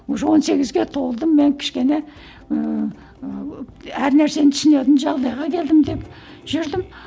уже он сегізге толдым мен кішкене ііі әр нәрсені түсінетін жағдайға келдім деп жүрдім